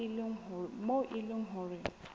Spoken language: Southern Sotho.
moo e leng hore ho